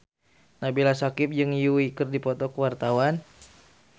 Nabila Syakieb jeung Yui keur dipoto ku wartawan